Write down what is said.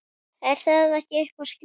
Er það ekki eitthvað skrítið?